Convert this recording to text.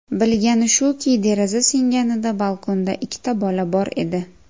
Bilgani shuki, deraza singanida balkonda ikkita bola bor edi.